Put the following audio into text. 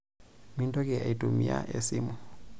Mintoki aitumia esimu.